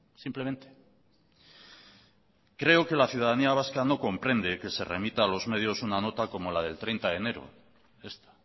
simplemente creo que la ciudadanía vasca no comprende que se remita a los medios una nota como la del treinta de enero esta